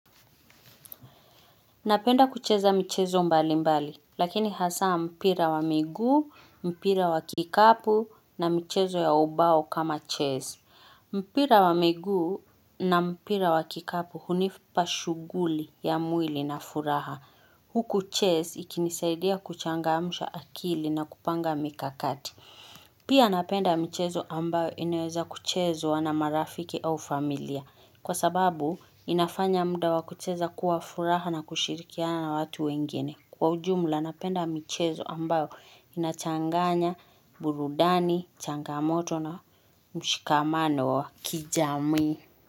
Napenda kucheza michezo mbali mbali, lakini hasa mpira wa miguu, mpira wa kikapu na mchezo ya ubao kama chess. Mpira wa miguu na mpira wa kikapu hunipa shughuli ya mwili na furaha. Huku chess ikinisaidia kuchangamsha akili na kupanga mikakati. Pia napenda michezo ambayo inaweza kuchezwa na marafiki au familia. Kwa sababu, inafanya muda wakucheza kuwa furaha na kushirikiana watu wengine. Kwa ujumla, napenda michezo ambayo inachanganya, burudani, changamoto na mshikamano wa kijamii.